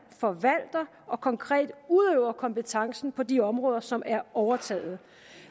forvalter og konkret udøver kompetencen på de områder som de har overtaget